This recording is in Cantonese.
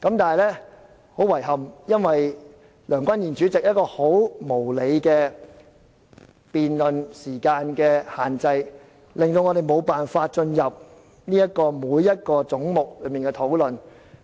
但很遺憾，基於梁君彥主席就辯論設立的無理時限，我們無法就各個總目逐一討論。